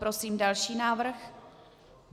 Prosím další návrh.